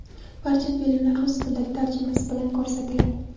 Barcha filmlar rus tilidagi tarjimasi bilan ko‘rsatiladi.